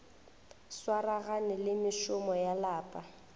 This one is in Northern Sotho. swaragane le mešomo ya lapa